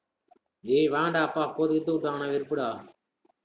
டேய் வேன்டா அப்பா போட்டு கீட்டு விட்டாங்கன்னா, வெறுப்புடா